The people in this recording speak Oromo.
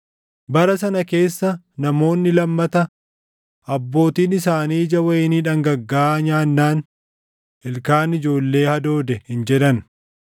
“Bara sana keessa namoonni lammata, “ ‘Abbootiin isaanii ija wayinii dhangaggaaʼaa nyaannaan ilkaan ijoollee hadoode’ hin jedhan.